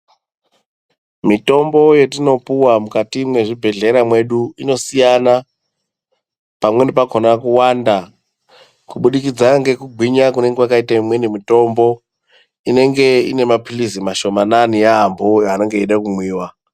Mitombo yetinopuwa mukati mwezvibhedhlera mwedu, inosiyana. Pamweni pakhona kuwanda, kubudikidza ngekugwinya kunenge imweni mitombo inenge inemaphilizi mashomanana yambo, anenge eyida kumwiwa.